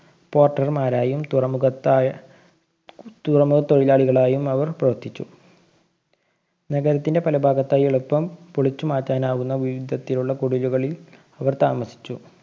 Porter മാരായും തുറമുഖതാ~ തുറമുഖ തൊഴിലാളികളായും അവര്‍ പ്രവര്‍ത്തിച്ചു. നഗരത്തിന്‍ടെ പലഭാഗത്തായും എളുപ്പം പൊളിച്ചു മാറ്റാനാകുന്ന വിധത്തിലുള്ള കുടിലുകളില്‍ ഇവര്‍ താമസിച്ചു.